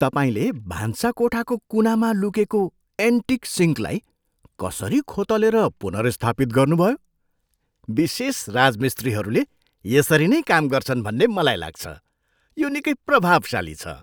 तपाईँले भान्साकोठाको कुनामा लुकेको एन्टिक सिङ्कलाई कसरी खोतलेर पुनर्स्थापित गर्नुभयो। विशेषज्ञ राजमिस्त्रीहरूले यसरी नै काम गर्छन् भन्ने मलाई लाग्छ। यो निकै प्रभावशाली छ।